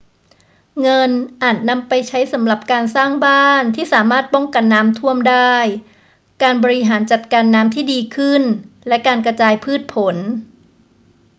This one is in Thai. เงินอาจนำไปใช้สำหรับการสร้างบ้านที่สามารถป้องกันน้ำท่วมได้ การบริหารจัดการน้ำที่ดีขึ้น และการกระจายพืชผล